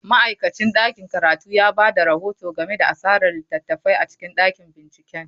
Ma'aikacin ɗakin karatu ya ba da rahoto game da asarar littattafai a cikin ɗakin binciken.